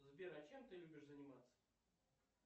сбер а чем ты любишь заниматься